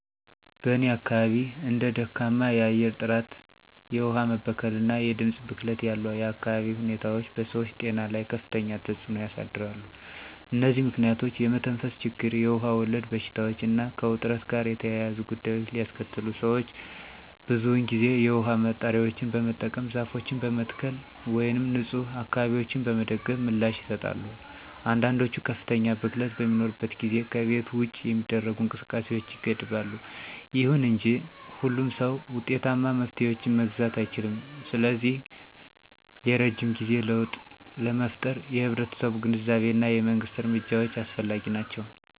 በእኔ አካባቢ እንደ ደካማ የአየር ጥራት፣ የውሃ መበከል እና የድምፅ ብክለት ያሉ የአካባቢ ሁኔታዎች በሰዎች ጤና ላይ ከፍተኛ ተጽዕኖ ያሳድራሉ። እነዚህ ምክንያቶች የመተንፈስ ችግር, የውሃ ወለድ በሽታዎች እና ከውጥረት ጋር የተያያዙ ጉዳዮችን ሊያስከትሉ ሰዎች ብዙውን ጊዜ የውሃ ማጣሪያዎችን በመጠቀም፣ ዛፎችን በመትከል ወይም ንፁህ አካባቢዎችን በመደገፍ ምላሽ ይሰጣሉ። አንዳንዶች ከፍተኛ ብክለት በሚኖርበት ጊዜ ከቤት ውጭ የሚደረጉ እንቅስቃሴዎችን ይገድባሉ። ይሁን እንጂ ሁሉም ሰው ውጤታማ መፍትሄዎችን መግዛት አይችልም, ስለዚህ የረጅም ጊዜ ለውጥ ለመፍጠር የህብረተሰቡ ግንዛቤ እና የመንግስት እርምጃዎች አስፈላጊ ናቸው.